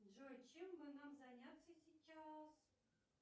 джой чем бы нам заняться сейчас